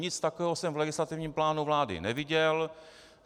Nic takového jsem v legislativním plánu vlády neviděl.